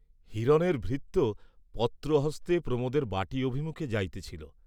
হিরণের ভৃত্য পত্র হস্তে প্রমোদের বাটী অভিমুখে যাইতেছিল।